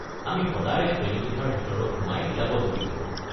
আমি সদায় শ্ৰেণীকোঠাৰ ভিতৰত সোমাই কিতাপত ডুবি থাকোঁ।